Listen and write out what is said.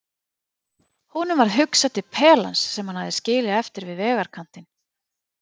Honum varð hugsað til pelans sem hann hafði skilið eftir við vegarkantinn.